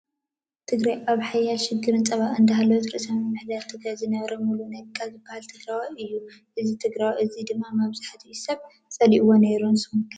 ትግራይ ኣብ ሓያል ሽግርን ፀበባን እንዳሃለት ርእሰ ምምሕዳር ትግራይ ዝነበረ ሙሉ ነጋ ዝበሃል ትግረዋይ እዩ። እዚ ትግሮዋይ እዚ ድማ ብዙሕ ሰብ ፀሊእዎ ነይሩ ንስኩም ከ ?